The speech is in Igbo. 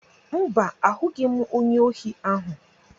Mba, ahụghị m onye ohi ahụ.